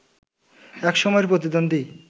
এক সময়ের প্রতিদ্বন্দ্বী